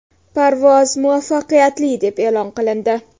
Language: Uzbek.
Parvoz muvaffaqiyatli deb e’lon qilindi.